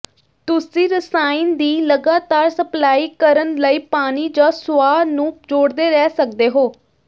ਤੁਸੀਂ ਰਸਾਇਣ ਦੀ ਲਗਾਤਾਰ ਸਪਲਾਈ ਕਰਨ ਲਈ ਪਾਣੀ ਜਾਂ ਸੁਆਹ ਨੂੰ ਜੋੜਦੇ ਰਹਿ ਸਕਦੇ ਹੋ